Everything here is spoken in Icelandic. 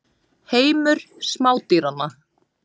Heimur smádýranna.